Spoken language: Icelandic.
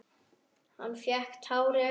Hann fékk tár í augun.